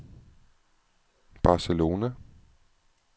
Barcelona